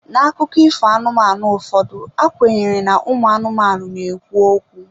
N'akụkọ ifo anụmanụ ụfọdụ, a kwenyere na ụmụ anụmanụ na-ekwu okwu.